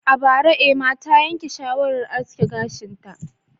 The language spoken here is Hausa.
A bara, Emma ta yanke shawarar aske gashinta